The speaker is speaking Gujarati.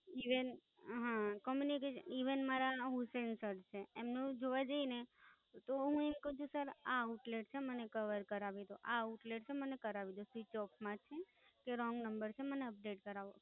EvenCommunication, even હા. Communication, even મારા હુસૈન સર છે, એમનું જોવા જઈએ ને તો હું એમ ક્વ છું સર આ Outlet છે, મને Cover કરાવી દો. આ Outlet છે, મને કરાવી દો. Switch off માંથી કે Wrong છે, મને Update કરાવી.